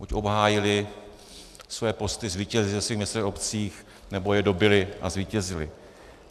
Buď obhájili své posty, zvítězili ve svých městech a obcích, nebo je dobyli a zvítězili.